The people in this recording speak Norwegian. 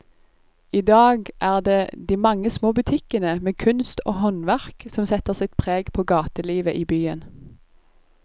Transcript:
I dag er det de mange små butikkene med kunst og håndverk som setter sitt preg på gatelivet i byen.